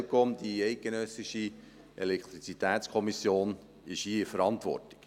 Die ElCom, die Eidgenössische Elektrizitätskommission, ist hier in der Verantwortung.